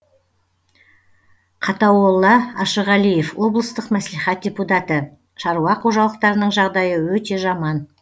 қатауолла ашығалиев облыстық мәслихат депутаты шаруа қожалықтарының жағдайы өте жаман